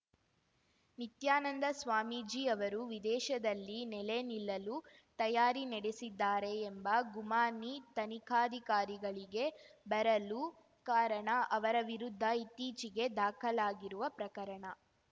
ನಿತ್ಯಾನಂದ ಸ್ವಾಮೀಜಿ ಅವರು ವಿದೇಶದಲ್ಲಿ ನೆಲೆ ನಿಲ್ಲಲು ತಯಾರಿ ನಡೆಸಿದ್ದಾರೆ ಎಂಬ ಗುಮಾನಿ ತನಿಖಾಧಿಕಾರಿಗಳಿಗೆ ಬರಲು ಕಾರಣ ಅವರ ವಿರುದ್ಧ ಇತ್ತೀಚೆಗೆ ದಾಖಲಾಗಿರುವ ಪ್ರಕರಣ